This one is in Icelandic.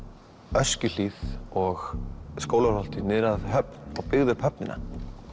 Öskjuhlíð og Skólavörðuholti niður á höfn og byggðu upp höfnina